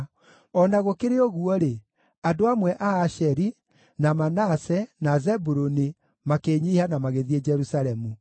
O na gũkĩrĩ ũguo-rĩ, andũ amwe a Asheri, na Manase, na Zebuluni makĩĩnyiihia na magĩthiĩ Jerusalemu.